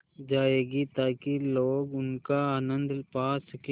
जाएगी ताकि लोग उनका आनन्द पा सकें